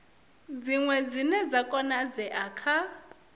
dziṅwe dzine dza konadzea kha